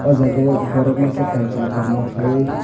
jagao borok masa kanchwlwi korma khwlaiui.